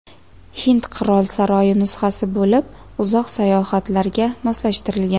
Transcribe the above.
Hind qirol saroyi nusxasi bo‘lib, uzoq sayohatlarga moslashtirilgan.